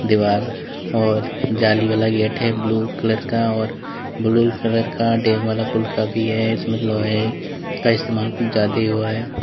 दीवार औऱ जाली वाला गेट है ब्लू कलर का औऱ ब्लू कलर का भी है इसमें लोहे का इस्तेमाल कुछ ज्यादा ही हुआ है।